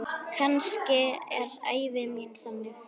Kannski er ævi mín þannig.